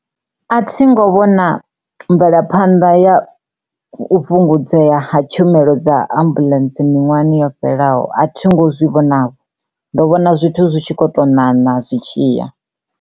A thi ngo vhona mvelaphanḓa ya u fhungudzea ha tshumelo dza ambuḽentse miṅwahani yo fhelelaho a thi ngo zwi vhonavho ndo vhona zwithu zwi tshi kho to ṋaṋa zwitshiya.